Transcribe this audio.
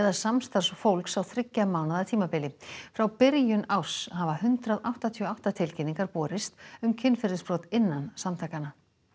samstarfsfólks á þriggja mánaða tímabili frá byrjun árs hafa hundrað áttatíu og átta tilkynningar borist um kynferðisbrot innan samtakanna